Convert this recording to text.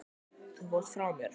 Þú fórst frá mér.